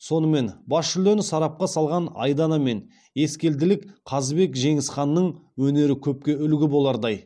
сонымен бас жүлдені сарапқа салған айдана мен ескелділік қазыбек жеңісқанның өнері көпке үлгі болардай